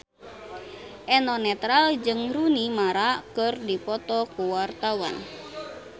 Eno Netral jeung Rooney Mara keur dipoto ku wartawan